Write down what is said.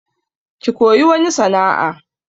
Ki koyi wani sana'a!